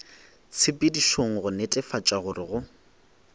tshepedišong go netefatša gore go